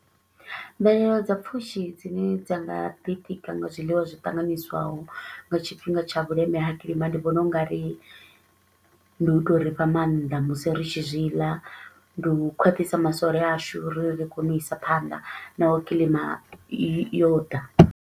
Mvelelo dza pfushi dzine dza nga ḓitika nga zwiḽiwa zwi ṱanganyiswaho nga tshifhinga tsha vhuleme ha kilima, ndi vhona u nga ri ndi u to ri fha maanḓa musi ri tshi zwi ḽa, ndi u khwaṱhisa masole ashu uri ri kone u isa phanḓa naho kilima yo yo ḓa.